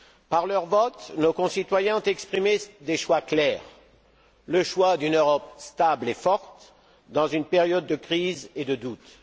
Par leur vote, nos concitoyens ont exprimé des choix clairs le choix d'une Europe stable et forte, dans une période de crise et de doute